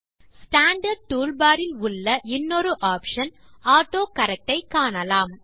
standard tool bar இல் உள்ள இன்னொரு ஆப்ஷன் ஆட்டோகரெக்ட் ஐ காணலாம்